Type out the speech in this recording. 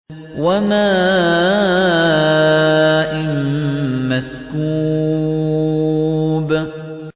وَمَاءٍ مَّسْكُوبٍ